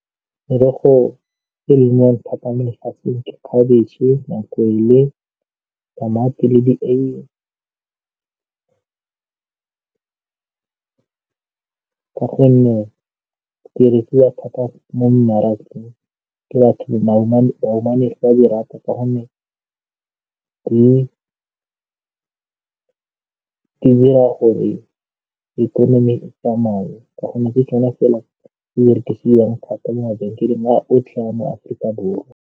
Merogo e lemiwang thata mo lefatsheng ke khabetšhe, makwele, tamati le di-eiye ka gonne di rekiwa thata mo mmarakeng ke batho. Bahumanegi ba di rata ka gonne di dira gore ikonomi e tsamaye ka gonne ke tsona fela tse di rekisiwang thata mo mabenkeleng otlhe wa mo Afrika Borwa.